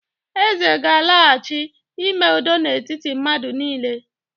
eze gālaghachi, ime udo na etiti madu nile